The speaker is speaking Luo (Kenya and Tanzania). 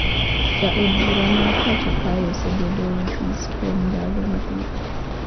Ja od bura ma pacho kae osebedo e ofis kuwom ndalo mathoth